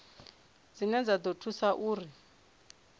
dzine dza ḓo thusa uri